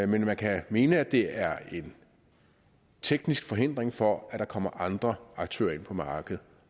men man kan mene at det er en teknisk forhindring for at der kommer andre aktører ind på markedet